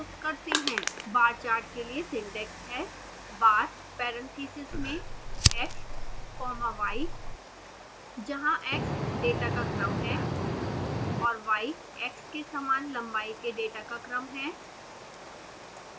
बार chart के लिए syntax है: bar parentheses में x comma y